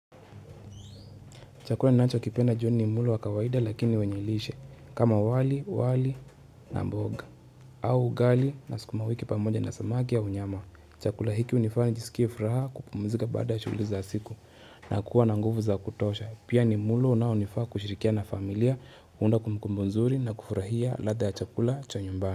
Chakula ninachokipenda jioni ni mlo wa kawaida lakini wenye lishe kama wali, wali na mboga au ugali na sukuma wiki pamoja na samaki au nyama. Chakula hiki unifanya niskie furaha kupumzika baada ya shughuli za siku na kuwa na nguvu za kutosha. Pia ni mlo unaonifaa kushirikia na familia, kuunda kumbukumbu nzuri na kufurahia ladha ya chakula cha nyumbani.